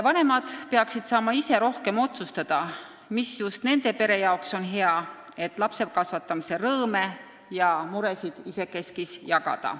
Vanemad peaksid saama rohkem ise otsustada, mis just nende pere jaoks on hea, et lapsekasvatamise rõõme ja muresid omavahel jagada.